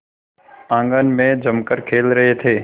आंगन में जमकर खेल रहे थे